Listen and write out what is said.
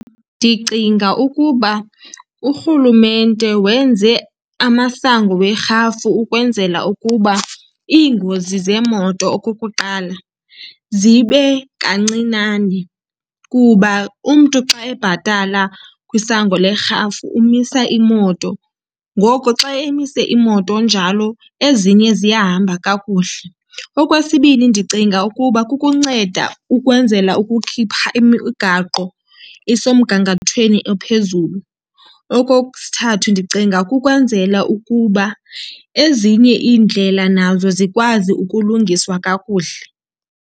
Ndicinga ukuba urhulumente wenze amasango werhafu ukwenzela ukuba iingozi zeemoto, okukuqala, zibe kancinane. Kuba umntu xa ebhatala kwisango lerhafu umisa imoto, ngoko xa emise imoto njalo ezinye ziyahamba kakuhle. Okwesibini, ndicinga ukuba kukunceda ukwenzela ukukhipha imigaqo isemgangathweni ophezulu. Okosithathu, ndicinga kukwenzela ukuba ezinye iindlela nazo zikwazi ukulungiswa kakuhle.